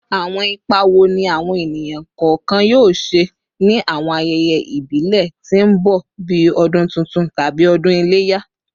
Awọn ipa wo ni awọn eniyan kọọkan yoo ṣe ni awọn ayẹyẹ ibile ti n bọ bii Ọdun Tuntun tabi Odun Ileya?